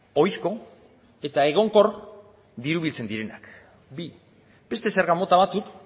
oizko eta egonkor diru biltzen direnak bi beste zerga mota batzuk